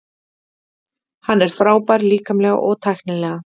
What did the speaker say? Hann er frábær líkamlega og tæknilega.